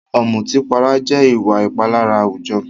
Ọ̀mùtípara jẹ́ ìwà ìpalára àwùjọ.